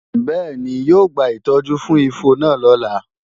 Bẹ́ẹ̀ni, yóò gba ìtọ́jú fún ifo náà lọ́la